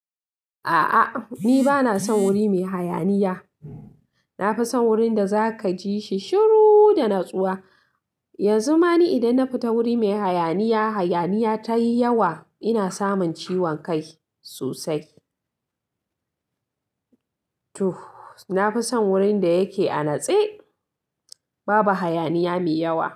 A'a, ni bana son wuri mai hayaniya. Na fi son wurin da za ka ji shi shiru da natsuwa. Yanzu ma ni idan na fita wuri mai hayaniya, hayaniya ta yi yawa, ina samun ciwon kai sosai. Na fi son wurin da yake a natse, babu hayaniya mai yawa.